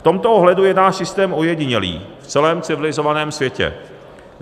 V tomto ohledu je náš systém ojedinělý v celém civilizovaném světě.